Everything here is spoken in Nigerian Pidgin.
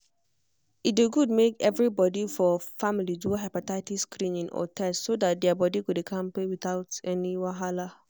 e um good make everybody for family do hepatitis screening or test so that their body go dey kampe without any wahala.